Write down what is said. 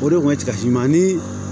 O de kun ka f'i ma ni